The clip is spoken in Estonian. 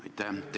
Aitäh!